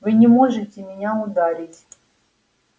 вы не можете меня ударить